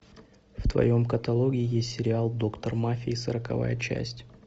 в твоем каталоге есть сериал доктор мафии сороковая часть